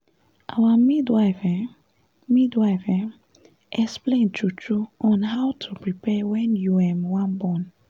our midwife um midwife um explain true true on how to prepare wen u um wan born